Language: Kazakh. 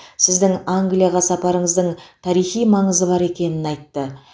сіздің англияға сапарыңыздың тарихи маңызы бар екенін айтты